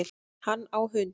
Hann á hund